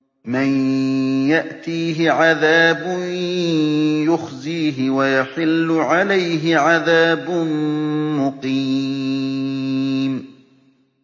مَن يَأْتِيهِ عَذَابٌ يُخْزِيهِ وَيَحِلُّ عَلَيْهِ عَذَابٌ مُّقِيمٌ